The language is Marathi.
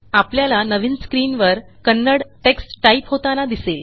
आपल्याला नवीन स्क्रीनवर कन्नड टेक्स्ट टाईप होताना दिसेल